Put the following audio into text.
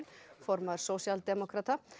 formaður sósíaldemókrata